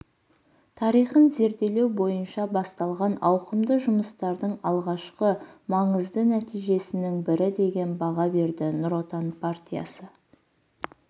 тарихын зерделеу бойынша басталған ауқымды жұмыстардың алғашқымаңызды нәтижесінің бірі деген баға берді нұр отан партиясы